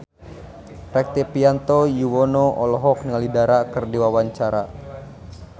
Rektivianto Yoewono olohok ningali Dara keur diwawancara